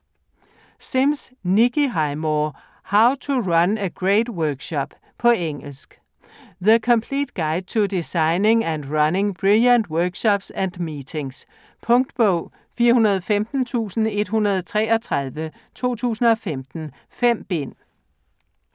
Sims, Nikki Highmore: How to run a great workshop På engelsk. The complete guide to designing and running brilliant workshops and meetings. Punktbog 415133 2015. 5 bind.